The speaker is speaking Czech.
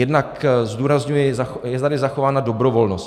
Jednak zdůrazňuji, je tady zachována dobrovolnost.